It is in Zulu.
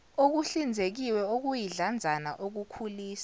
okuhlinzekiwe okuyidlanzana okukhulisa